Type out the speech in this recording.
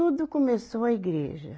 começou a igreja.